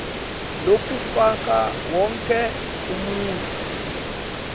lokufaka wonkhe umuntfu